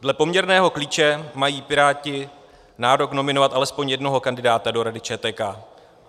Dle poměrného klíče mají Piráti nárok nominovat alespoň jednoho kandidáta do Rady ČTK.